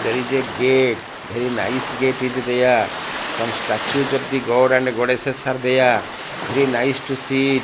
there is a gate very nice gate is there some statues of the god and goddesses are there very nice to see it.